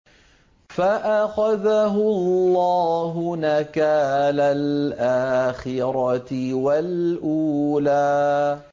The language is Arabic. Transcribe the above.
فَأَخَذَهُ اللَّهُ نَكَالَ الْآخِرَةِ وَالْأُولَىٰ